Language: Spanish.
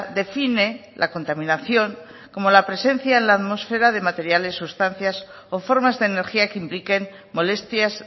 define la contaminación como la presencia en la atmósfera de materiales sustancias o formas de energía que impliquen molestias